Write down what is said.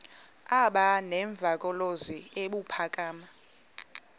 aba nemvakalozwi ebuphakama